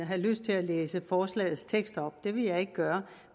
have lyst til at læse forslagets tekst op det vil jeg ikke gøre